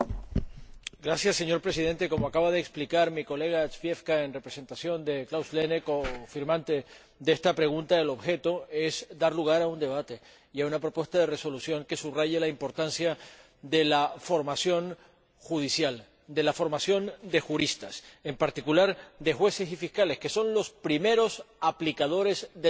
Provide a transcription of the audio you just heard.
Señor Presidente, como acaba de explicar el señor Zwiefka, en representación de Klaus Heiner Lehne, coautor de esta pregunta, el objeto es dar lugar a un debate y a una propuesta de resolución que subraye la importancia de la formación judicial, de la formación de juristas, en particular de jueces y fiscales, que son los primeros aplicadores del Derecho europeo.